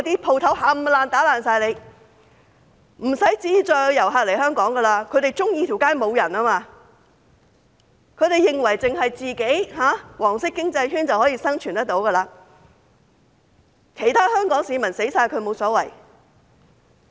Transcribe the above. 不會再有遊客來香港，他們喜歡街上沒有人，他們認為只要有"黃色經濟圈"便可以生存，其他香港市民死光也無所謂。